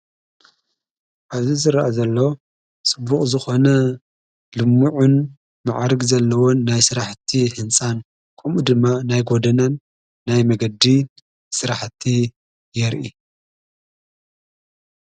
ኣብዚ ዝረአ ዘሎ ፅቡቕ ዝኾነ ልምዑን መዕርጉን ዘለዎን ናይ ሥራሕቲ ሕንፃን ኲምኡ ድማ ናይ ጐድናን ናይ መንገድን ሥራሕቲ የርኢ።